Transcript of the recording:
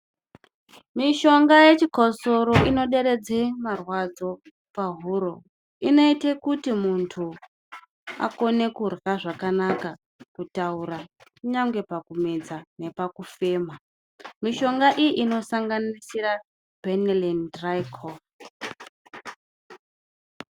Mishonga yechikosoro inoderedza marwadzo pahuro. Inoita kuti muntu akone kurya zvakanaka nekutaura, kunyangwe pakumedza nepakufema. Mishonga iyi inosanganisira Benirini.